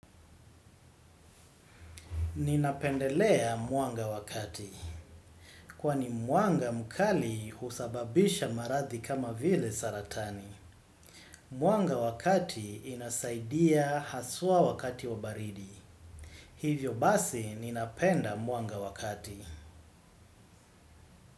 Ninapendelea mwanga wakati. Kwani mwanga mkali husababisha maradhi kama vile saratani. Mwanga wakati inasaidia haswa wakati wa baridi. Hivyo basi ninapenda muanga wakati.